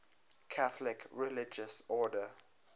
catholic religious order